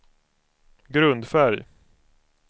grundfärg